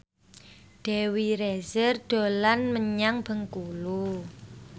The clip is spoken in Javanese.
Dewi Rezer dolan menyang Bengkulu